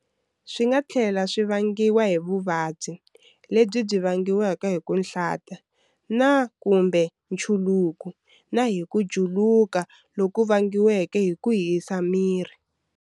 Swi nga tlhela swi vangiwa hi vuvabyi, lebyi byi vangaka ku hlanta na kumbe nchuluko, na hi ku juluka loku vangiwaka hi ku hisa miri.